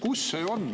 Kus see on?